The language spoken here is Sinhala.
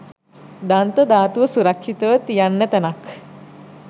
දන්ත ධාතුව සුරක්ෂිතව තියන්න තැනක්.